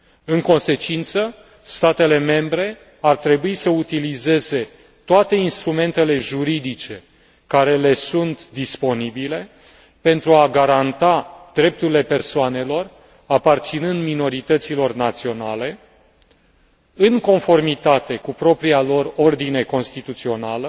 În consecință, statele membre ar trebui să utilizeze toate instrumentele juridice care le sunt disponibile, pentru a garanta drepturile persoanelor aparținând minorităților naționale, în conformitate cu propria lor ordine constituțională